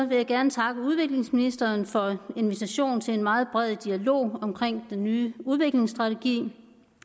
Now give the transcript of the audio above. vil jeg gerne takke udviklingsministeren for invitationen til en meget bred dialog omkring den nye udviklingsstrategi